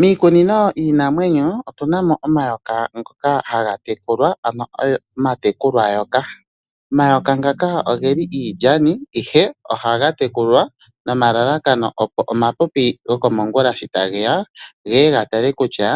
Miikunino yiinamwenyo otu namo omayoka ngoka haga tekulwa ano omatekulwayoka. Omayoka ngaka ogeli iilyani ashike ohaga tekulwa nomalalakano opo omapipi gokomongula sho ta geya geye ga tale kutya